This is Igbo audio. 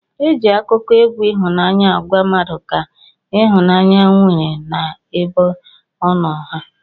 Eji akụkọ egwu ihụnanya agwa mmadu ka ihụnanya inwere na ebe ọno ha.